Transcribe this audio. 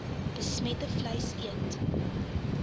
besmette vleis eet